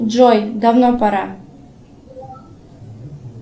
джой давно пора